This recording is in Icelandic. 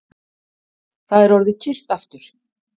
Það er orðið kyrrt aftur